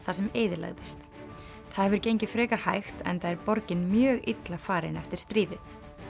það sem eyðilagðist það hefur gengið frekar hægt enda er borgin mjög illa farin eftir stríðið